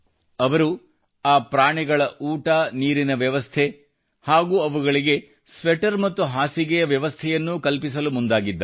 ಅವರು ಆ ಪ್ರಣಿಗಳ ಊಟನೀರಿನ ವ್ಯವಸ್ಥೆ ಹಾಗೂ ಅವುಗಳಿಗೆ ಸ್ವೆಟರ್ ಮತ್ತು ಹಾಸಿಗೆಯ ವ್ಯವಸ್ಥೆಯನ್ನೂ ಕಲ್ಪಿಸಲು ಮುಂದಾಗಿದ್ದಾರೆ